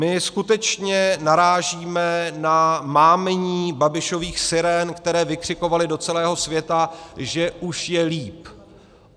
My skutečně narážíme na mámení Babišových sirén, které vykřikovaly do celého světa, že už je líp.